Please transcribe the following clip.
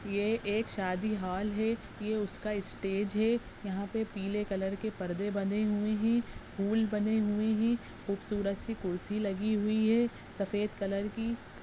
ये एक शादी हॉल है ये उसका स्टेज है यहाँ पे पीले कलर के परदे बंधे हुए हैं फूल बने हुए हैं खूबसूरत सी कुर्सी लगी हुई है सफेद कलर की।